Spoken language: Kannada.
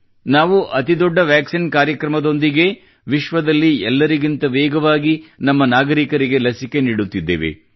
ನಾವು ಅತಿ ದೊಡ್ಡ ವ್ಯಾಕ್ಸಿನ್ ಕಾರ್ಯಕ್ರಮದೊಂದಿಗೇ ವಿಶ್ವದಲ್ಲಿ ಎಲ್ಲರಿಗಿಂತ ವೇಗವಾಗಿ ನಮ್ಮ ನಾಗರಿಕರಿಗೆ ಲಸಿಕೆ ನೀಡುತ್ತಿದ್ದೇವೆ